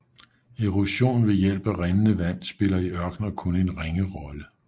Erosion ved hjælp af rindende vand spiller i ørkener kun en ringe rolle